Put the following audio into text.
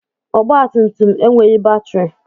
Ọgba tum tum enweghị batrị.